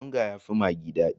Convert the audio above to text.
Onga ya fi maggi dadi